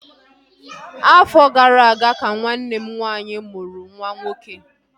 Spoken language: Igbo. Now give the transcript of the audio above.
Afọ gara aga ka nwanne m nwaanyị mụrụ nwa nwoke